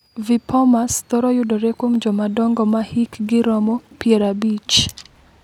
VIPomas thoro yudore kuom jomadongo ma hikgi romo 50.